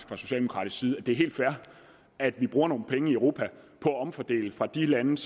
fra socialdemokraternes side synes at det er helt fair at man bruger nogle penge i europa på at omfordele fra de lande